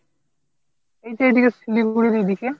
এই তো এদিকে শিলিগুড়ির এদিকে।